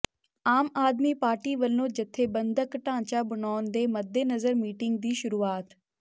ਆਮ Aadmi Party ਵੱਲੋਂ ਜਥੇਬੰਦਕ ਢਾਂਚਾ ਬਣਾਉਣ ਦੇ ਮੱਦੇਨਜ਼ਰ ਮੀਟਿੰਗ ਦੀ ਸ਼ੁਰੂਆਤ